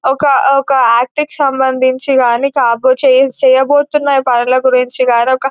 ఒక-ఒక act కి సంబంధించి గాని కాబో-చేయ-చేయబోతున్న పనుల గురించి గాని ఒక --